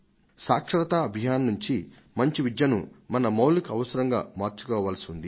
సాక్షరతా అభియాన్ నుంచి మంచి విద్యను మన మౌలిక అవసరంగా మార్చుకోవాల్సివుంది